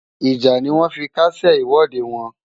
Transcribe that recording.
Ìjà ni wọ́n fi kásẹ̀ ìwọ́de wọn.